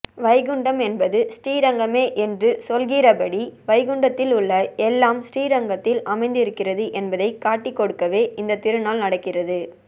வைகுண்டம் என்பது ஸ்ரீரங்கமே என்று சொல்லுகிறபடி வைகுண்டத்தில் உள்ள எல்லாம் ஸ்ரீரங்கத்தில் அமைந்திருக்கிறது என்பதைக் காட்டிக்கொடுக்கவே இந்தத்திருநாள் நடக்கிறது